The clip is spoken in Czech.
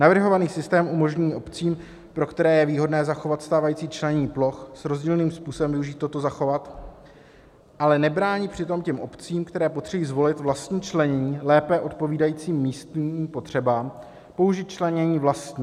Navrhovaný systém umožní obcím, pro které je výhodné zachovat stávající členění ploch, s rozdílným způsobem využít toto zachovat (?), ale nebránit přitom těm obcím, které potřebují zvolit vlastní členění lépe odpovídající místním potřebám, použít členění vlastní.